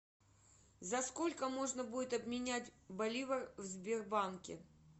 за сколько можно будет обменять боливар в сбербанке